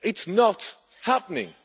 It is not happening.